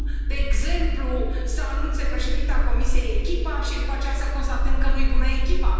Cum, de exemplu, să anunțe Președinta Comisiei echipa și după aceea să constatăm că nu i bună echipa.